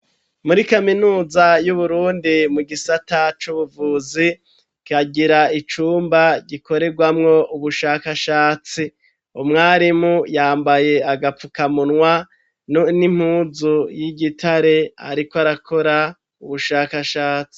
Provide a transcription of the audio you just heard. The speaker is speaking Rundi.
Muri kaminuza y'uburundi mu gisata c'ubuvuzi kagira icumba gikoregwamwo ubushakashatsi, umwarimu yambaye agapfukamunwa n'impuzu y'igitare ariko arakora ubushakashatsi.